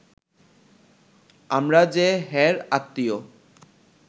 আমরা যে হের আত্মীয়